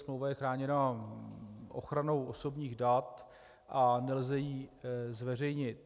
Smlouva je chráněna ochranou osobních dat a nelze ji zveřejnit.